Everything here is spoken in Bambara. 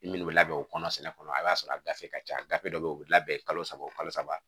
Min bɛ labɛn o kɔnɔ sɛnɛ kɔnɔ a y'a sɔrɔ a gafe ka ca gafe dɔ bɛ yen o bɛ labɛn kalo saba o kalo saba